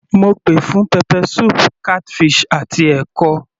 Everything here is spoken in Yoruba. Mo pè fún pepper soup, catfish àti ẹ̀kọ.